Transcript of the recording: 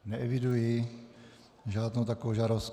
Neeviduji žádnou takovou žádost.